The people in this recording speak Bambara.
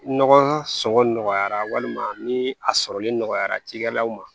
Nɔgɔ sɔngɔn nɔgɔyara walima ni a sɔrɔli nɔgɔyara cikɛlaw ma